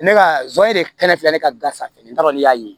Ne ka zonzani de kɛnɛ filɛ ne ka gafe n t'a dɔn ne y'a ye